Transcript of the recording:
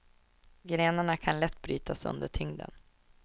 Grenarna kan lätt brytas under tyngden.